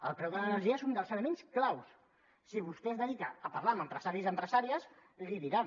el preu de l’energia és un dels elements clau si vostè es dedica a parlar amb empresaris i empresàries li ho diran